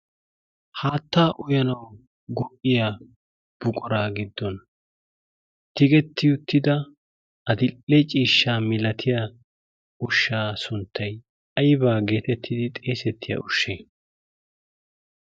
haatta uyyanaw go''iya buqura giddon tiggeti uttida uttida addil''e ciishshaa milaatiyaa ushsha sunttay aybba geetettidi xeessetiya ushsha?